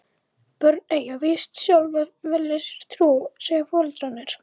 Börnin eiga víst sjálf að velja sér trú, segja foreldrarnir.